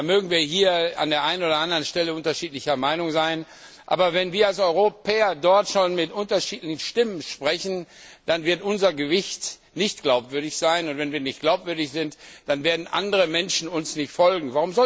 Da mögen wir hier an der einen oder anderen Stelle unterschiedlicher Meinung sein, aber wenn wir als Europäer dort schon mit unterschiedlichen Stimmen sprechen, dann wird unser Gewicht nicht glaubwürdig sein, und wenn wir nicht glaubwürdig sind, dann werden andere Menschen uns nicht folgen.